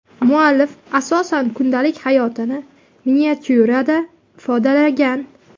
Muallif asosan kundalik hayotini miniatyurada ifodalagan.